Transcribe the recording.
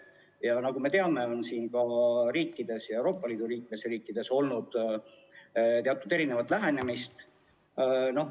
Ja nagu me teame, on ka Euroopa Liidu liikmesriikides olnud teatud erinevat lähenemist.